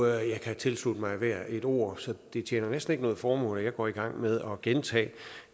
jeg kan tilslutte mig hvert et ord så det tjener næsten ikke noget formål at jeg går i gang med at gentage det